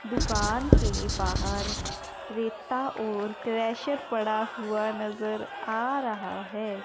दुकान के बाहर रेता और क्रैशर पड़ा हुआ नजर आ रहा है।